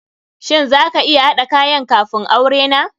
Shin za ka iya haɗa kayan kafun aure na?